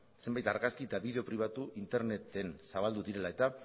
zenbait argazki eta bideo pribatu interneten zabaldu direla eta